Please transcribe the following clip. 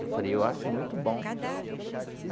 Eu falei, eu acho muito bom.